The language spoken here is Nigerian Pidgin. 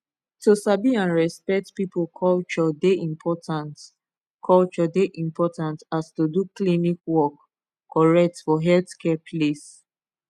to sabi and respect people culture dey important culture dey important as to do klinik work correct for healthcare place